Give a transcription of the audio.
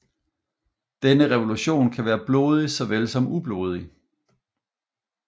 Denne revolution kan være blodig såvel som ublodig